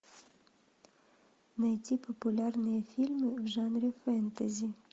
найти популярные фильмы в жанре фэнтези